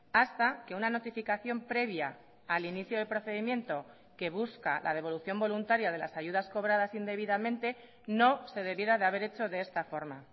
hasta que una notificación previa al inicio de procedimiento que busca la devolución voluntaria de las ayudas cobradas indebidamente no se debiera de haber hecho de esta forma